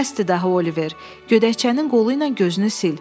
Bəsdir daha Oliver, gödəkcənin qolu ilə gözünü sil.